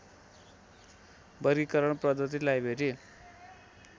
वर्गीकरण पद्धति लाइब्रेरी